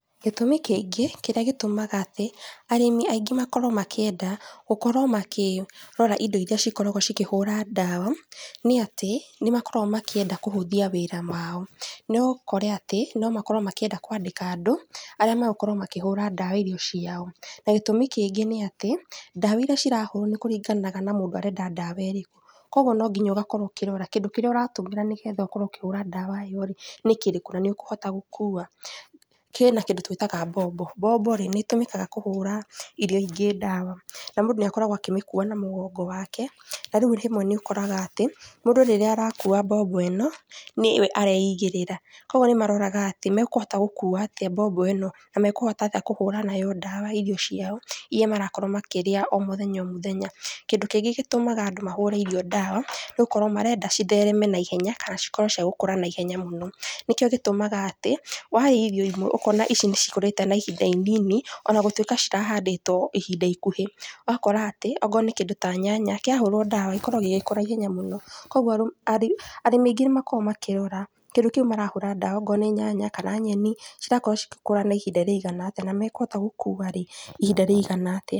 Gĩtũmĩ kĩngĩ kĩrĩa gĩtũmaga atĩ, arĩmi aingĩ makorwo makĩenda gũkorwo makĩrora indo iria cikoragwo cikĩhũra ndawa, nĩ atĩ nĩmakoragwo makĩenda kũhũthia wĩra wao. No ũkore atĩ nomakorwo makĩenda kũandĩka andũ, arĩa magũkorwo makĩhũra ndawa irio ciao. Na gĩtumi kĩngĩ nĩ atĩ, ndawa iria cirahũrwo nĩkũringanaga na mũndũ arenda ndawa irĩku. Kwoguo no nginya ũkorwo ũkĩrora kĩndũ kĩrĩa ũratũmĩra nĩgetha ũkorwo ũkĩhũra ndawa ĩyo rĩ, nĩkĩrĩkũ, na nĩũkũhota gũkua. Kĩna kĩndũ tũitaga mbombo. Mbobo rĩ, nĩtũmĩkaga kũhũra irio ingĩ ndawa, na mũndũ nĩakoragwo akĩmĩkua na mũgongo wake, na rĩu rĩmwe nĩũkoraga atĩ, mũndũ rĩrĩa arakua mbombo ĩno, nĩwe areigĩrĩra, koguo nĩmaroraga atĩ mekũhota gũkua atĩa mbombo ĩno, na mekũhota atĩa kũhũra nayo ndawa irio ciao, iria marakorwo makĩrĩa o mũthenya o mũthenya. Kĩndũ kĩngĩ gĩtũmaga andũ mahũre irio ndawa, nĩgũkorwo marenda cithereme na ihenya, kana cikorwo ciagũkũra na ihenya mũno. Nĩkio gĩtũmaga atĩ, warĩa irio imwe, ũkona ici nĩcikũrĩte na ihinda inini onagũtuĩka cirahandĩtwo ihinda ikuhĩ. Ũgakora atĩ, okorwo nĩ kĩndũ ta nyanya, kĩahũrwo ndawa gĩkorwo gĩgĩkũra ihenya mũno. Kwoguo arĩ arĩmi aingĩ nĩmakoragwo makĩrora, kĩndũ kiũ marahũra ndawa okorwo nĩ nyanya, kana nyeni, cirakorwo cigĩkũra naihinda rĩigana atĩa, na mekũhota gũkua ihinda rĩigana atĩa.